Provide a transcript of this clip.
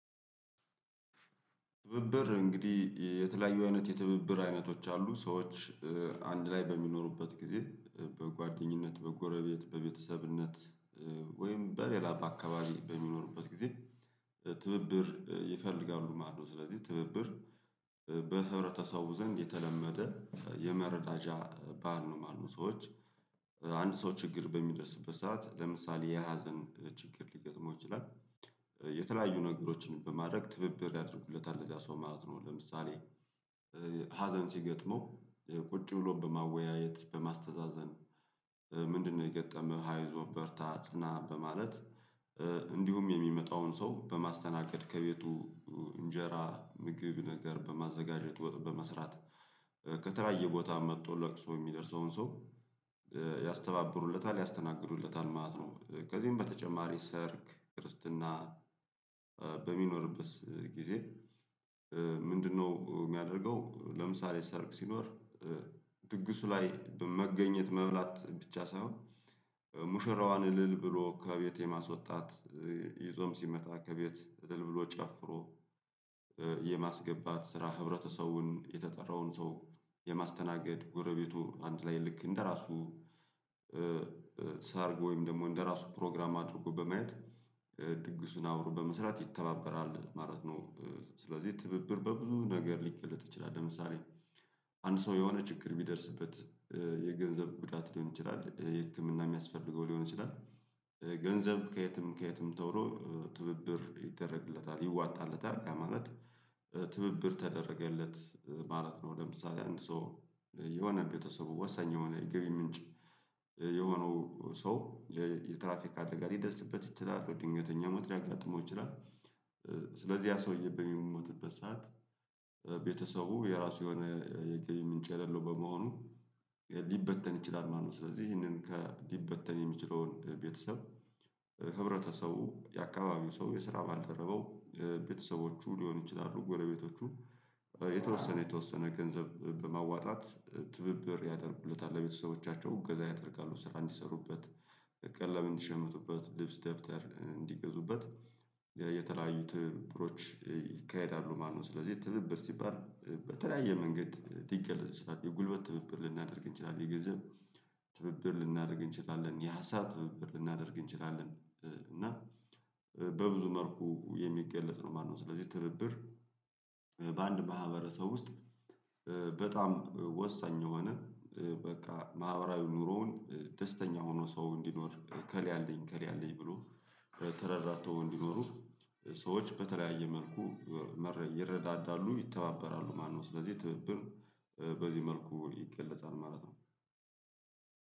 ትብብር እንግዲህ የተለያዩ አይነት የትብብር አይነቶች አሉ ሰዎች አንድ ላይ በሚኖሩበት ጊዜ በጓደኝነት በጎረቤት በቤተሰብነት ወይም በሌላ በአካባቢ በሚኖሩበት ጊዜ ትብብር ይፈልጋሉ ማለት ነው። ስለዚህ ትብብር በህብረተሰቡ ዘንድ የተለመደ የመረዳጃ ባህል ነው ማለት ነው። ሰዎች አንድ ሰው ችግር በሚደርስበት ሰዓት ለምሳሌ የሀዘን ችግር ሊገጥመው ይችላል። የተለያዩ ነገሮችን በማድረግ ትብብር ያደርጉለታል ለዚያ ሰው ማለት ነው። ለምሳሌ ሀዘን ሲገጥመው ቁጭ ብሎ በማወያየት በማስተዛዘን ምንድነው የገጠመው አይዞህ በርታ ጽና በማለት? እንዲሁም የሚመጣውን ሰው በማስተናገድ ከቤቱ እንጀራ ምግብ ነገር በማዘጋጀት ውጥ በመስራት ከተለያየ ቦታ መጥቶ ለቅሶ የሚደርሰውን ሰው ያስተባብሩለታል ያስተናግዱለታል ማለት ነው። ከዚህም በተጨማሪ ሰርግ ክርስትና በሚኖርበት ጊዜ። ምንድነው የሚያደርገው ለምሳሌ ሰርግ ሲኖር? ድግሱ ላይ መገኘት መብላት ብቻ ሳይሆን ሙሽራዋን እልል ብሎ ከቤቴ የማስወጣት ይዞም ሲመጣ ከቤት እልል ብሎ ጨፍሮ የማስገባት ስራ ህብረተሰውን የተጠራውን ሰው የማስተናገድ ጎረቤቱ አንድ ላይ ልክ እንደራሱ አድርጎ ወይም ደግሞ እንደራሱ ፕሮግራም አድርጎ በማየት ድግሱን አብሮ በመስራት ይተባበራል ማለት ነው። ስለዚህ ትብብር በብዙ ነገር ሊገለጥ ይችላል ለምሳሌ አንድ ሰው የሆነ ችግር ቢደርስበት የገንዘብ ጉዳት ሊሆን ይችላል የህክምና የሚያስፈልገው ሊሆን ይችላል። ገንዘብ ከየትም ከየትም ተብሎ ትብብር ይደረግለታል ይዋጣለታል ያ ማለት ትብብር ተደረገለት ማለት ነው። ለምሳሌ አንድ ሰው የሆነ ቤተሰቡ ወሰኝ የሆነ የግብ ምንጭ የሆነው ሰው የትራፊክ አደገ ሊደርስበት ይችላል ድንገተኛ ሞት ሊያጋጥመው ይችላል። ስለዚህ ያ ሰውዬ በሚሞትበት ሰዓት ቤተሰቡ የራሱ የሆነ የገቢ ምንጭ የሌለው በመሆኑ ሊበተን ይችላል ማለት ነው። ስለዚህ ይሄንን ከሊበተን የሚችለውን ቤተሰብ ህብረተሰቡ የአካባቢው ሰው የስራ ባልተረበው ቤተሰቦቹ ሊሆን ይችላሉ ጎረቤቶቹ የተወሰነ የተወሰነ ገንዘብ በማዋጣት ትብብር ያደርጉለታል ለቤተሰቦቻቸው እገዛ ያደርጋሉ ስራ እንዲሰሩበት ቀለም እንዲሸምቱበት ልብስ ደብተር እንዲገዙበት የተለያዩት ትብብሮች ይካሄዳሉ ማለት ነው። ስለዚህ ትብብት ሲባል በተለያየ መንገድ ልገለጥ ይቻላል የጉልበት ትብብር ልናደርግ እንችላለን የገንዘብ ትብብር ልናደርግ እንችላለን የሀሳብ ትብብር ልናደርግ እንችላለን እና በብዙ መልኩ የሚገለጥ ነው ማለት ነው። ስለዚህ ትብብር በአንድ ማህበረሰብ ውስጥ በጣም ወሳኝ የሆነ በቃ ማህበራዊ ኑሮውን ደስተኛ ሆኖ ሰው እንዲኖር ኤከል አለኝ ኤከል አለኝ ብሎ ተረራቶ እንዲኖሩ ሰዎች በተለያየ መልኩ ይረዳዳሉ ይተባበራሉ ማለት ነው። ስለዚህ ትብብር በዚህ መልኩ ይገለጻል ማለት ነው።